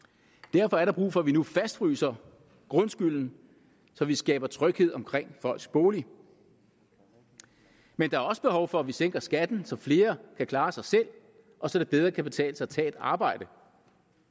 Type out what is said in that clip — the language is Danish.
derfor er der brug for at vi nu fastfryser grundskylden så vi skaber tryghed omkring folks bolig men der er også behov for at vi sænker skatten så flere kan klare sig selv og så det bedre kan betale sig at tage et arbejde